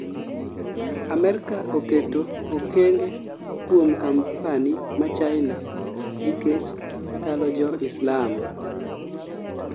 Amerka oketo okenge kuom kampani ma China nikech talo jo Islam